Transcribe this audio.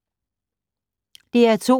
DR2